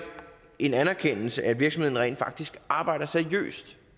en anerkendelse af at virksomheden rent faktisk arbejder seriøst